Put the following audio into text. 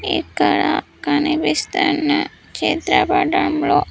ఇక్కడ కనిపిస్తున్న చిత్రపటంలో.